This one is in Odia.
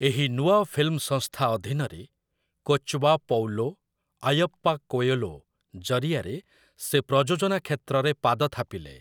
ଏହି ନୂଆ ଫିଲ୍ମ ସଂସ୍ଥା ଅଧୀନରେ, 'କୋଚବ୍ବା ପୌଲୋ ଆୟପ୍ପା କୋୟଲୋ' ଜରିଆରେ ସେ ପ୍ରଯୋଜନା କ୍ଷେତ୍ରରେ ପାଦ ଥାପିଲେ ।